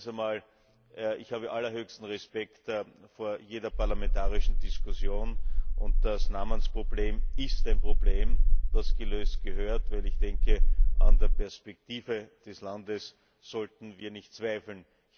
Zweitens Ich habe allerhöchsten Respekt vor jeder parlamentarischen Diskussion, und das Namensproblem ist ein Problem, das gelöst werden muss, denn an der Perspektive des Landes sollten wir nicht zweifeln.